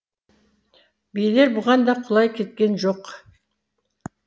билер бұған да құлай кеткен жоқ